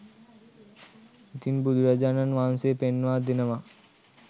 ඉතින් බුදුරජාණන් වහන්සේ පෙන්වා දෙනවා